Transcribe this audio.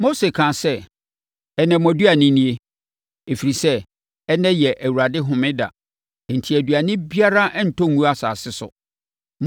Mose kaa sɛ, “Ɛnnɛ, mo aduane nie, ɛfiri sɛ, ɛnnɛ yɛ Awurade homeda enti aduane biara rentɔ ngu asase so.